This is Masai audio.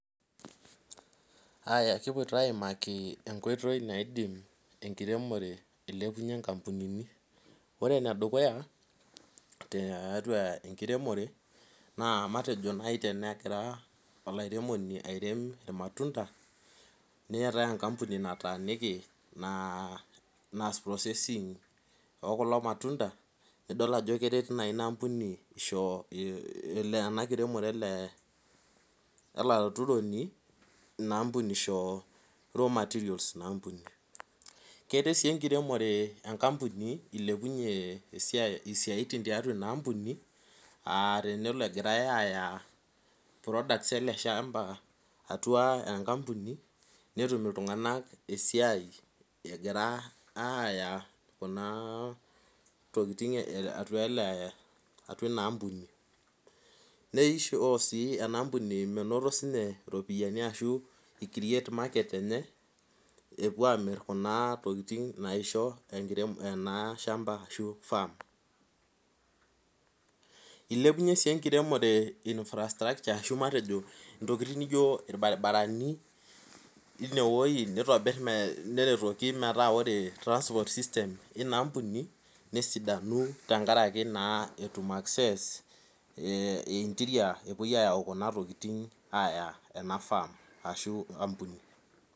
Aaya kipuoito aimaki enkoitoi naidim enkiremore ailepunyie inkampunini ore enedukuya te teatua enkiremore naa matejo naai tenekira olairemoni airem imatunda neetae enkampuni nataaniki naa naas processing okulo matunda nidol ajo keret naa ina ampuni isho i ina ampuni isho raw materials ina ampuni keret sii enkiremore enkampuni ilepunyie esia isiaitin tiatua ina ampuni atenelo egirae aaya products ele shamba atua enkampuni netum iltung'anak esiai egira aaya kunaa tokiting eh atua ele atua ina ampuni neisho sii ena ampuni menoto siinye iropiani ashu ikiriet market enye epuo amirr kuna tokiting naisho enkirem ena shamba ashu firm ilepunyie sii enkiremore i nfrastructure ashu matejo intokiting nijio irbaribarani inewoi nitobirr me neretoki metaa ore transport system ina ampuni nesidanu tenkaraki naa etum access eh interior epuoi ayau kuna tokiting aaya ena firm ashu ampuni.